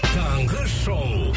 таңғы шоу